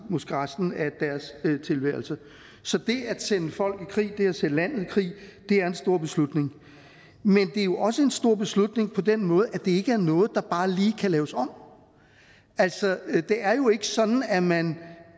måske resten af deres tilværelse så det at sende folk i krig det at sende landet i krig er en stor beslutning men det er jo også en stor beslutning på den måde at det ikke er noget der bare lige kan laves om altså det er jo ikke sådan at man